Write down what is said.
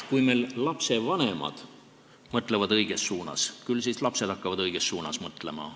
Kui lastevanemad mõtlevad õiges suunas, küll siis ka lapsed hakkavad õiges suunas mõtlema.